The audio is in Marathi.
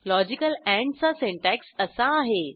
लॉजिकल ANDचा सिंटॅक्स असा आहे